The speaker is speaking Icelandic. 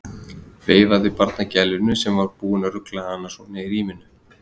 Veifaði barnagælunni sem var búin að rugla hann svona í ríminu.